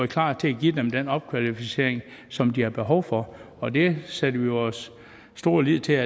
klar til at give dem den opkvalificering som de har behov for og det sætter vi vores store lid til